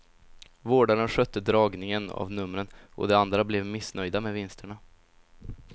Vårdaren skötte dragningen av numren och de andra blev missnöjda med vinsterna.